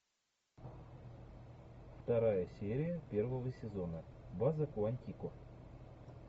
вторая серия первого сезона база куантико